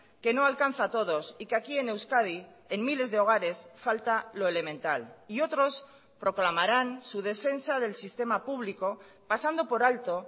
que no alcanza a todos y que aquí en euskadi en miles de hogares falta lo elemental y otros proclamarán su defensa del sistema público pasando por alto